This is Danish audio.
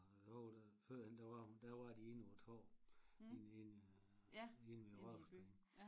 A howwe da førhen da var hun der var de inde å æ torv lige inde inde ved Rådhusstræde